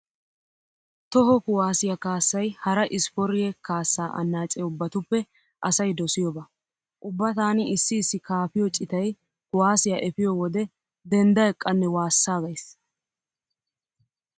Toho kuwaassiya kaassay hara ispporyye kaassa annaace ubbatuppe asay dosiyoba. Ubba taani issi issi kaafiyo citay kuwaassiya efiyo wode dendda eqqannee waassaaggays.